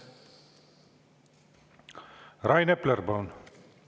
Rain Epler, palun!